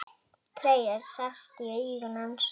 Tregi sest í augu hans.